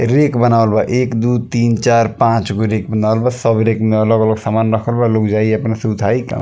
rack बनावल बा एक दू तीन चार पाँच गो रैक बनावल बा सब रैक में अलग-अलग सामान रखल बा लोग जाई अपना से उठाई क --